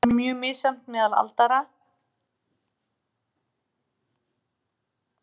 Það er mjög misjafnt meðal aldraðra og munurinn vex með hækkandi aldri.